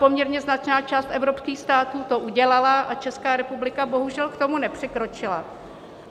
Poměrně značná část evropských států to udělala a Česká republika bohužel k tomu nepřikročila.